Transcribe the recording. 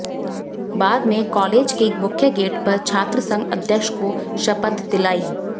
बाद में कॉलेज के मुख्य गेट पर छात्रसंघ अध्यक्ष को शपथ दिलाई